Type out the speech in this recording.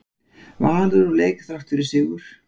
Valur úr leik þrátt fyrir sigur